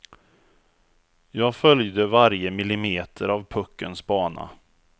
Jag följde varje millimeter av puckens bana.